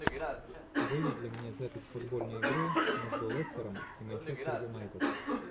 выведи мне запись футбольной игры между лестером и манчестер юнайтед